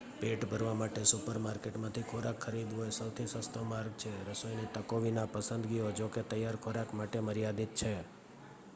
પેટ ભરવા માટે સુપરમાર્કેટમાંથી ખોરાક ખરીદવો એ સૌથી સસ્તો માર્ગ છે રસોઈની તકો વિના પસંદગીઓ જોકે તૈયાર ખોરાક માટે મર્યાદિત છે